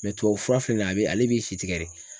tubabu fura filɛ nin ye a bɛ ale b'i si tigɛ de.